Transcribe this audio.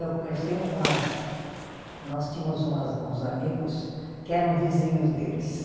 Eu conheci umas. Nós tínhamos umas, uns amigos que eram vizinhos deles.